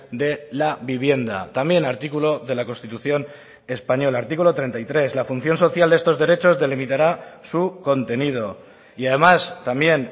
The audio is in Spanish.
de la vivienda también artículo de la constitución española artículo treinta y tres la función social de estos derechos delimitará su contenido y además también